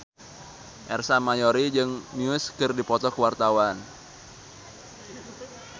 Ersa Mayori jeung Muse keur dipoto ku wartawan